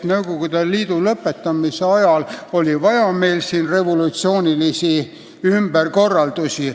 Nõukogude Liidu lõpu ajal oli meil siin vaja revolutsioonilisi ümberkorraldusi.